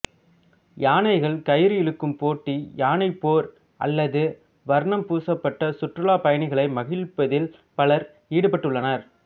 யானைகள் கயிறு இழுக்கும் போட்டி யானைப் போர் அல்லது வர்ணம் பூசப்பட்டு சுற்றுலாப் பயணிகளை மகிழ்விப்பதில் பலர் ஈடுபட்டுள்ளனர்